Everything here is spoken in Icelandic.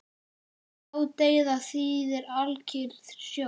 Ládeyða þýðir alkyrr sjór.